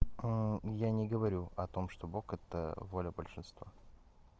а я не говорю о том что бог это воля большинства